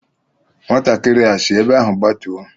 Nwatakịrị a sị ebe ahụ gbatuo!